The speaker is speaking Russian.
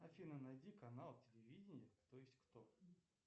афина найди канал телевидения кто есть кто